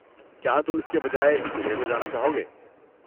کیا تم اس کے بجائے جمعہ کو جانا چاہو گے؟